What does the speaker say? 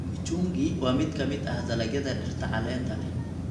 Kichungi waa mid ka mid ah dalagyada dhirta caleenta leh.